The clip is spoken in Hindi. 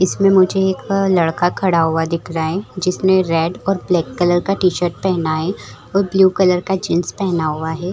इसमें मुझे एक लड़का खड़ा हुआ दिख रहा है जिसने रेड और ब्लैक कलर का टी-शर्ट पहना है और ब्लू कलर का जीन्स पहना हुआ है।